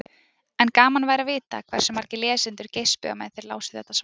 En gaman væri að vita hversu margir lesendur geispuðu á meðan þeir lásu þetta svar.